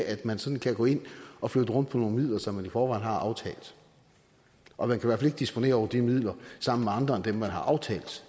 at man sådan kan gå ind og flytte rundt på nogle midler som man i forvejen har aftalt og man kan i disponere over de midler sammen med andre end dem man har aftalt